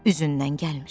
Üzündən gəlmir.